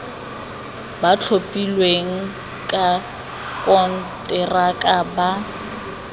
ba thapilweng ka konteraka ba